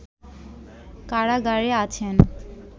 কারাগারে আছেন